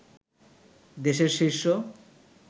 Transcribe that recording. দেশের শীর্ষ